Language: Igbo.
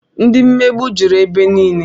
Ndị mmegbu jụrụ ebe niile